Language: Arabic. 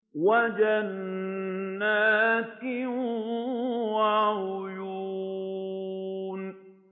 وَجَنَّاتٍ وَعُيُونٍ